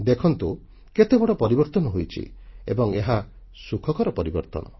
ଦେଖନ୍ତୁ କେତେବଡ଼ ପରିବର୍ତ୍ତନ ହୋଇଛି ଏବଂ ଏହା ସୁଖକର ପରିବର୍ତ୍ତନ